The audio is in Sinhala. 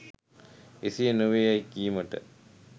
එසේ නොවේ යැයි කීමට